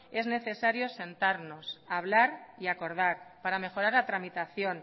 es necesario sentarnos hablar y acordar para mejorar la tramitación